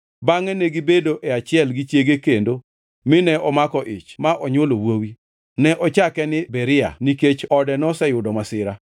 Bangʼe negibedo e achiel gi chiege kendo, mine omako ich ma onywolo wuowi. Ne ochake ni Beria nikech ode noseyudo masira.